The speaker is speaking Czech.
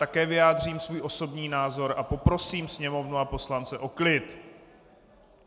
Také vyjádřím svůj osobní názor a poprosím Sněmovnu a poslance o klid.